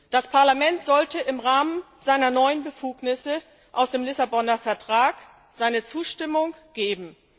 Das Parlament sollte im Rahmen seiner neuen Befugnisse aus dem Lissabonner Vertrag seine Zustimmung geben.